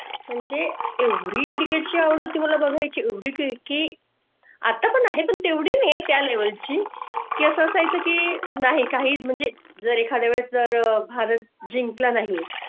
म्हणजे एवढी Cricket ची आवड होती. मला बघाय ची एवढी की आता पण आहे पण तेवढी नाही त्या level ची ती असाय चं की नाही काही म्हणजे जर एखाद्या वेळी भारत जिंकला नाही,